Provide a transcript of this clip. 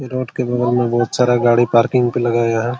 Road के बगल में बहुत सारा गढ़ी पार्किंग पर लगाया है।